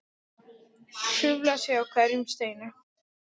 Hrufla sig á hverjum steini.